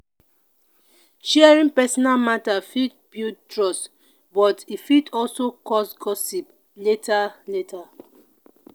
sharing personal matter fit build trust but e fit also cause gossip later. later.